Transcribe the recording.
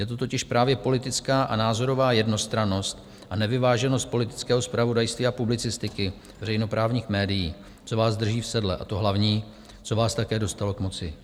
Je to totiž právě politická a názorová jednostrannost a nevyváženost politického zpravodajství a publicistiky veřejnoprávních médií, co vás drží v sedle, a to hlavní, co vás také dostalo k moci.